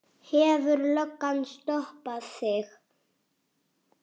Hefur löggan stoppað þig?